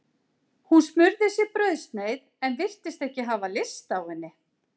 Hún smurði sér brauðsneið en virtist ekki hafa lyst á henni.